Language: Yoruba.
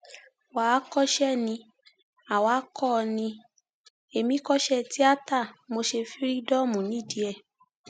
wà á kọsẹ ni àwa kó o ní ẹmí kọṣẹ tíátá mo ṣe fírídọọmù nídìí ẹ